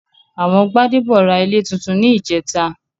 Àwọn Gbádébọ̀ ra ilé túntún ní ìjẹ́ta